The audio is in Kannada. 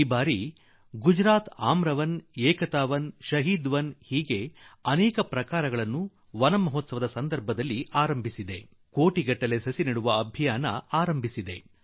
ಈ ವರ್ಷ ಗುಜರಾತ್ ಆಮ್ರವನ ಏಕತಾವನ ಶಹೀದ್ ವನ ಎಂಬ ಅನೇಕ ಸಂದರ್ಭಗಳನ್ನು ವನ ಮಹೋತ್ಸವ ರೂಪದಲ್ಲಿ ಆರಂಭಿಸಿ ಕೋಟ್ಯಾಂತರ ಗಿಡ ಮರ ನೆಡುವ ಆಂದೋಲನ ಕೈಗೊಂಡಿದೆ